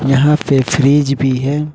यहां पे फ्रिज भी है।